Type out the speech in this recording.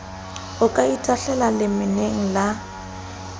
o ka itahlelang lemeneng la